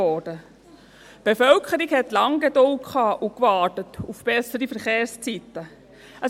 Die Bevölkerung hatte lange Geduld und hat lange auf bessere Verkehrszeiten gewartet.